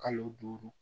Kalo duuru